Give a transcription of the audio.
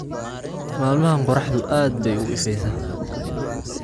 Maalmahan qorraxdu aad bay u ifaysaa